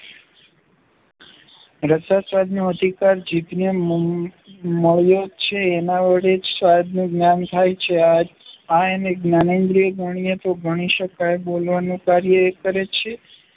રસાસ્વાદનો અધિકાર જીભને મન મળ્યો છે, એના વડે જ સ્વાદનું જ્ઞાન થાય છે આ એની જ્ઞાનેન્દ્રિય ગણીએ તો ગણી શકાય. બોલવાનું કાર્ય એ કરે છે